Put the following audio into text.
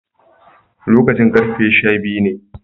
Lokacin karfe sha biyu ne